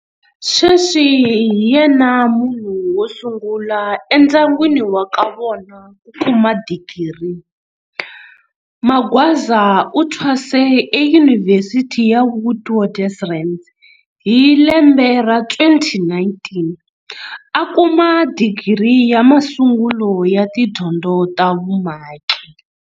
Sweswi hi yena munhu wo sungula endyangwini wa ka vona ku kuma digiri. Magwaza u thwase eYunivhesiti ya Witwatersrand hi lembe ra 2019, a kuma digiri ya masungulo ya tidyondzo ta vumaki.